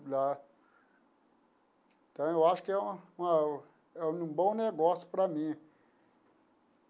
Então, eu acho que é uma uma um bom negócio para mim.